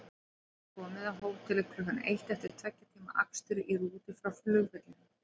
Þau höfðu komið á hótelið klukkan eitt eftir tveggja tíma akstur í rútu frá flugvellinum.